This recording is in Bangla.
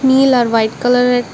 নীল আর হোয়াইট কালারে --